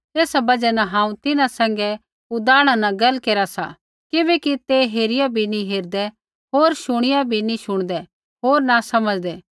एसा बजहा न हांऊँ तिन्हां सैंघै उदाहरणा न गैला केरा सा किबैकि ते हेरिया भी नी हेरदै होर शुणिया भी नी शुणदै होर न समझ़दै